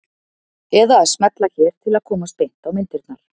Eða að smella hér til að komast beint á myndirnar.